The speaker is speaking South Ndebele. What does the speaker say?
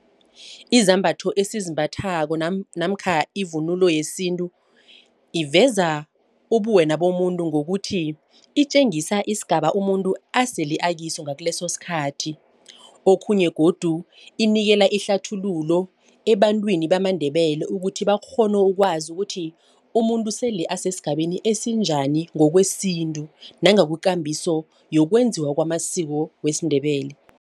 Izambatho esizimbathako namkha ivunulo yesintu iveza ubuwena bomuntu ngokuthi itjengisa isigaba umuntu asele akiso ngakileso sikhathi. Okhunye godu inikela ihlathululo ebantwini bamaNdebele ukuthi bakghone ukwazi ukuthi umuntu sele asesigabeni esinjani ngokwesintu nangakukambiso yokwenziwa kwamasiko wesiNdebele.